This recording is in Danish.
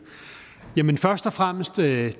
først og fremmest vil jeg